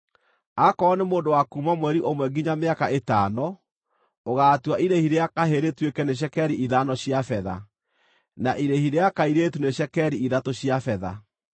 Aakorwo nĩ mũndũ wa kuuma mweri ũmwe nginya mĩaka ĩtano, ũgaatua irĩhi rĩa kahĩĩ rĩtuĩke nĩ cekeri ithano cia betha, na irĩhi rĩa kairĩtu nĩ cekeri ithatũ cia betha.